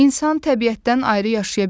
İnsan təbiətdən ayrı yaşaya bilməz.